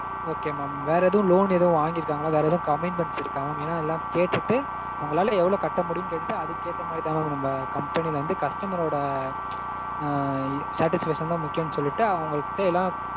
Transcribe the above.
okay mam. வேற loan எதுவும் வாங்கிருக்காங்களா? வேற எதுவும் commitments இருக்கா mam? ஏன்னா எல்லாம் கேட்டுட்டு உங்களால எவ்ளோ கட்ட முடியும்னு கேட்டுட்டு அதுக்கேத்த மாதிரிதா mam நம்ம company ல வந்து customer ரோட satisfaction தா முக்கியம்னு சொல்லிட்டு அவங்க கிட்ட எல்லாம்